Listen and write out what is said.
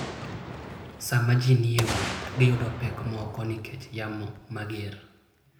Sama ji ni e wuoth, giyudo pek moko nikech yamo mager.